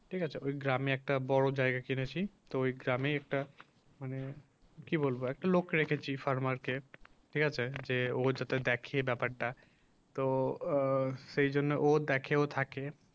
ঠিক আছে ওই গ্রামে একটা বড় জায়গা কিনেছি, তো ওই গ্রামে একটা মানে কি বলবো একটা লোক রেখেছি frame ঠিক আছে যে ও যাতে দেখে ব্যাপারটা তো আ সেজন্য ও দেখে ও থাকে